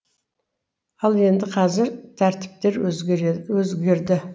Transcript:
ал енді қазір тәртіптер өзгерді